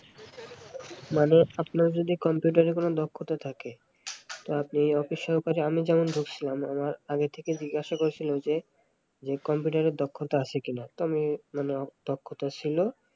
মানে আপনার যদি কম্পিউটারে কোন দক্ষতা থাকে তো আপনি অফিস সহকারে আমি যার ঢুকছিলাম মানে আমার আগে থেকে জিজ্ঞাসা করেছিলে যে কম্পিউটারের দক্ষতা আছে কিনা তো আমি মানে দক্ষতা ছিল